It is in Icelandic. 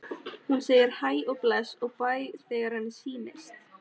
Hún segir hæ og bless og bæ þegar henni sýnist!